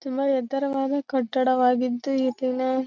ತುಂಬ ಎತ್ತರವಾದ ಕಟ್ಟಡವಾಗಿದ್ದು ಈ ದಿನ--